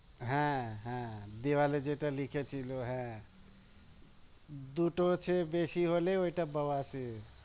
হ্যাঁ হ্যাঁ দেওয়ালে যেটা লিখেছিলো হ্যাঁ দুটোর চেয়ে বেশি হলে ওটা বাওয়া সির